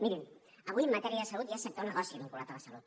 mirin avui matèria de salut ja és sector negoci vinculat a la salut